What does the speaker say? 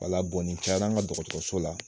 Wala nin caya la an ka dɔgɔtɔrɔso la